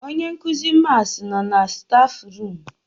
Onyenkuzi mats nọ na stafu rum